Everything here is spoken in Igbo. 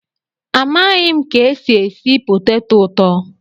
Amaghị m ka esi esi poteto ụtọ